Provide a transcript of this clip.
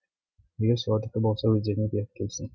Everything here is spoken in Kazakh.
егер солардікі болса өздеріне беріп келсін